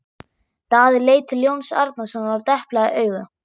Daði leit til Jóns Arasonar og deplaði auga.